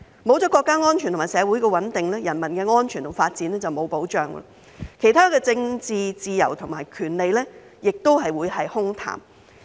沒有國家安全和社會穩定，人民的安全和發展就沒有保障，其他政治自由和權利也只會是空談。